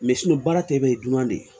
baara tɛ bɛɛ ye dunan de ye